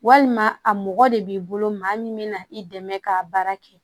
Walima a mɔgɔ de b'i bolo maa min bɛna i dɛmɛ k'a baara kɛ